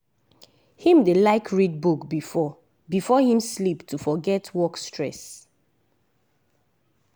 him dey like read book before before him sleep to forget work stress.